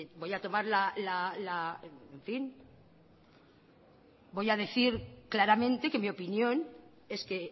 voy a decir claramente que mi opinión es que